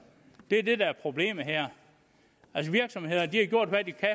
det er det der er problemet her virksomhederne har gjort hvad de kan